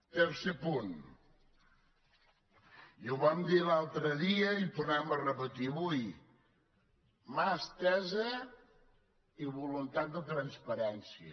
tercer punt i ho vam dir l’altre dia i ho tornem a repetir avui mà estesa i voluntat de transparència